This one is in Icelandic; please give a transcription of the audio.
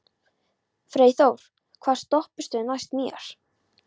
Freyþór, hvaða stoppistöð er næst mér?